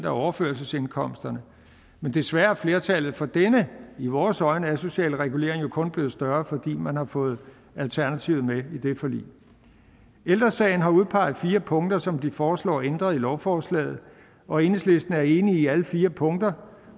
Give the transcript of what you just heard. overførselsindkomsterne men desværre er flertallet for denne i vores øjne asociale regulering kun blevet større for man har fået alternativet med i det forlig ældre sagen har udpeget fire punkter som de foreslår ændret i lovforslaget og enhedslisten er enig i alle fire punkter